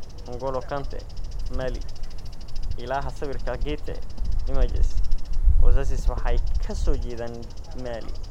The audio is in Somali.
N'Golo Kanté, (Mali) Ilaha sawirka, Getty Images. Wazaziis waxay ka soo jeedaan Mali.